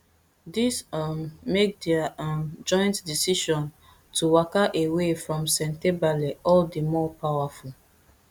dis um make dia um joint decision to waka away from sentebale all di more powerful